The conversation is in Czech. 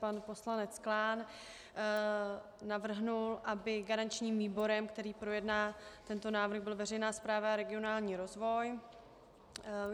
Pan poslanec Klán navrhl, aby garančním výborem, který projedná tento návrh, byla veřejná správa a regionální rozvoj.